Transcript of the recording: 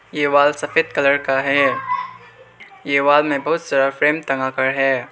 ये वॉल सफेद कलर का है ये वॉल में बहोत सारा पेंट टंगा कर है।